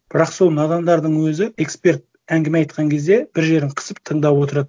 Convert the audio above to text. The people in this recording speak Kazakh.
бірақ сол надандардың өзі эксперт әңгіме айтқан кезде бір жерін қысып тыңдап отырады